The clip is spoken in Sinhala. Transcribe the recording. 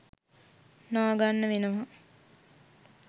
නාගන්න වෙනවා.